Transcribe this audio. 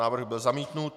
Návrh byl zamítnut.